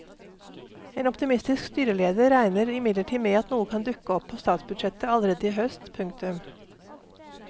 En optimistisk styreleder regner imidlertid med at noe kan dukke opp på statsbudsjettet allerede i høst. punktum